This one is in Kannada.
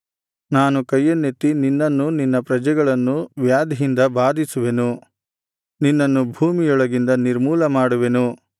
ನಾನು ಕೈಯನ್ನೆತ್ತಿ ನಿನ್ನನ್ನೂ ನಿನ್ನ ಪ್ರಜೆಗಳನ್ನೂ ವ್ಯಾಧಿಯಿಂದ ಬಾಧಿಸುವೆನು ನಿನ್ನನ್ನು ಭೂಮಿಯೊಳಗಿಂದ ನಿರ್ಮೂಲ ಮಾಡುವೆನು